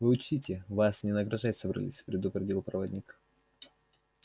вы учтите вас не награждать собрались предупредил проводник